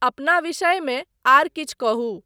अपना विषयमे आर किछु कहू।